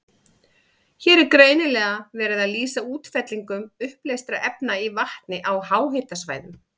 Hér er greinilega verið að lýsa útfellingum uppleystra efna í vatni á háhitasvæðum.